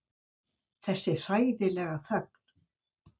Þessi hræðilega þögn.